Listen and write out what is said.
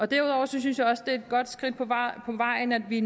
derudover synes jeg også at det er et godt skridt på vejen at vi